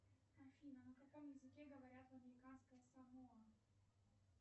афина на каком языке говорят в американское самоа